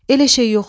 Elə şey yoxdur.